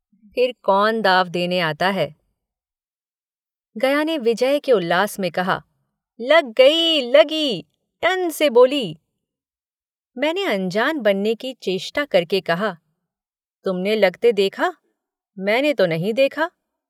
फिर कौन दाँव देने आता है गया ने विजय के उल्लास में कहा लग गयी लग गयी टन से बोली मैंने अनजान बनने की चेष्टा करके कहा तुमने लगते देखा मैंने तो नहीं देखा।